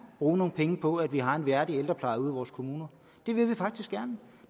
bruge nogle penge på at vi har en værdig ældrepleje ude i vores kommuner det vil vi faktisk gerne